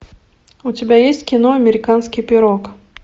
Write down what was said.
у тебя есть кино американский пирог